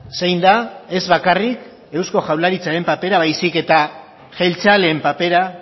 zein da ez bakarrik eusko jaurlaritzaren papera baizik eta jeltzaleen papera